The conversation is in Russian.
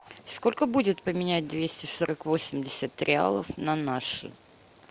сколько будет поменять двести сорок восемьдесят реалов на наши